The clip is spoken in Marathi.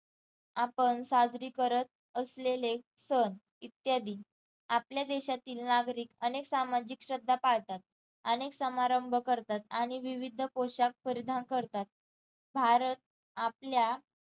आपण साजरी करत असलेले सण इत्यादी आपल्या देशातील नागरिक अनेक सामाजिक श्रद्धा पाळतात अनेक समारंभ करतात आणि विविध पोशाख परिधान करतात भारत आपल्या